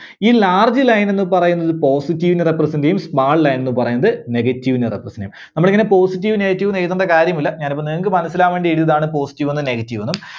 ഈ large line ന്ന് പറയുന്നത് positive നെ represent ചെയ്യും. small line ന്ന് പറയുന്നത് negative നെ represent ചെയ്യും. നമ്മള് ഇങ്ങനെ positive, negative ന്ന് എഴുതണ്ട കാര്യമില്ല. ഞാൻ ഇപ്പോ നിങ്ങൾക്ക് മനസ്സിലാവാൻവേണ്ടി എഴുതിയതാണ് positive ന്നും negative ന്നും.